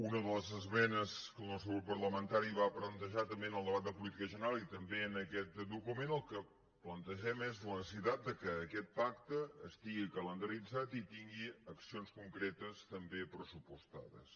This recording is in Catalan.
una de les esmenes que el nostre grup parlamentari va plantejar també en el debat de política general i també en aquest document el que plantegem és la necessitat que aquest pacte estigui calendaritzat i tingui accions concretes també pressupostades